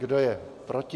Kdo je proti?